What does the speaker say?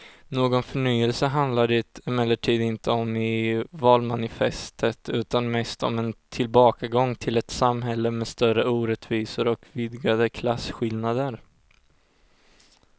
Någon förnyelse handlar det emellertid inte om i valmanifestet utan mest om en tillbakagång till ett samhälle med större orättvisor och vidgade klasskillnader.